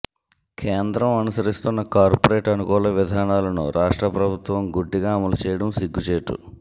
కేంద్రం అనుసరిస్తున్న కార్పొరేట్ అనుకూల విధానాలను రాష్ట్ర ప్రభుత్వం గుడ్డిగా అమలు చేయడం సిగ్గుచేటు